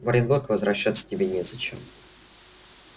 в оренбург возвращаться тебе незачем